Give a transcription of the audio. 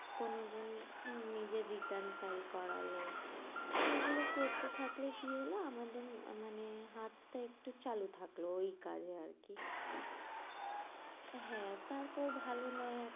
কোনো জন নিজের return file করলো সেগুলো করতে থাকলে কি হলো আমাদের মানে হাতটা একটু চালু থাকলো ওই কাজে আরকি হ্যাঁ তারপর ভালো নয়